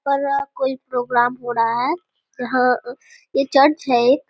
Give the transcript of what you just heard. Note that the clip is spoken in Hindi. बड़ा कोई प्रोग्राम हो रहा है जहाँ ये चर्च है।